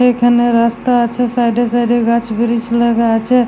এখানে রাস্তা আছে সাইড -এ সাইড -এ গাছ ব্রীচ লাগা আছে ।